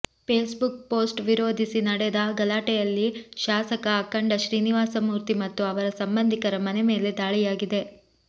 face book post ವಿರೋಧಿಸಿ ನಡೆದ ಗಲಾಟೆಯಲ್ಲಿ ಶಾಸಕ ಅಖಂಡ ಶ್ರೀನಿವಾಸಮುೂರ್ತಿ ಮತ್ತು ಅವರ ಸಂಬಂಧಿಕರ ಮನೆ ಮೇಲೆ ದಾಳಿಯಾಗಿದೆ